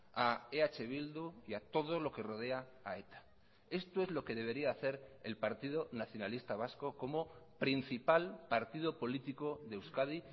a eh bildu y a todo lo que rodea a eta esto es lo que debería hacer el partido nacionalista vasco como principal partido político de euskadi